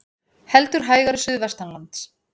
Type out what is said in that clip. Heldur hægari suðvestanlands